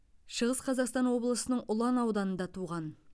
шығыс қазақстан облысының ұлан ауданында туған